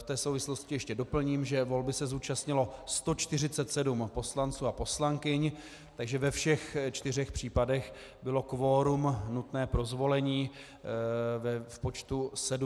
V té souvislosti ještě doplním, že volby se zúčastnilo 147 poslanců a poslankyň, takže ve všech čtyřech případech bylo kvorum nutné pro zvolení v počtu 74 hlasů.